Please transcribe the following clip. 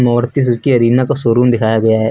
Maruti Suzuki Arena का showroom दिखाया गया है।